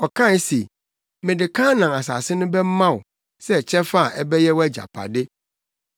Ɔkae se, “Mede Kanaan asase no bɛma wo sɛ kyɛfa a ɛbɛyɛ wʼagyapade.”